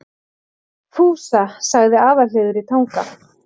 Fúsa, sagði Aðalheiður í Tanga.